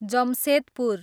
Jamshedpur